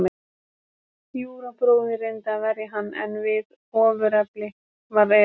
Júra bróðir reyndi að verja hann, en við ofurefli var að etja.